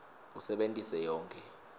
usebentise yonkhe